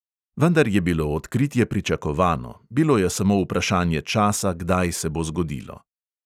Vendar je bilo odkritje pričakovano, bilo je samo vprašanje časa, kdaj se bo zgodilo.